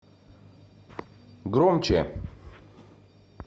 громче